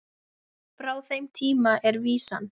Frá þeim tíma er vísan